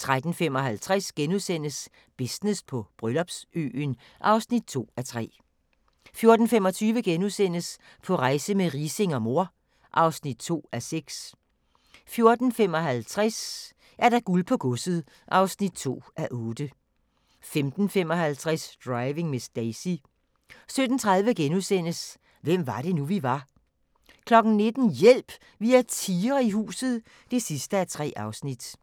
13:55: Business på Bryllupsøen (2:3)* 14:25: På rejse med Riising og mor (2:6)* 14:55: Guld på godset (2:8) 15:55: Driving Miss Daisy 17:30: Hvem var det nu, vi var? * 19:00: Hjælp! Vi har tigre i huset (3:3)